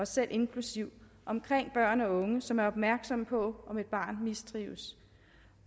selv inklusive omkring børn og unge som er opmærksomme på om et barn mistrives